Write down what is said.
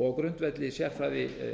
og á grundvelli sérfræðiaðstoðar